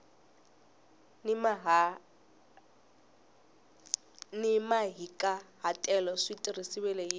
ni mahikahatelo swi tirhisiwile hi